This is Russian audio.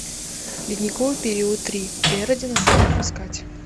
ледниковый период три эра динозавров искать